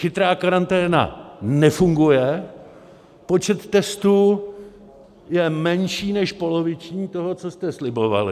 Chytrá karanténa nefunguje, počet testů je menší než poloviční toho, co jste slibovali.